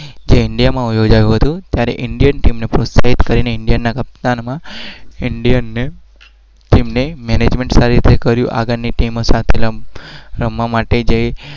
ઇન્ડિયામાં